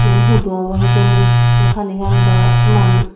iyen hudu obo hijeni se panigan do ettoman.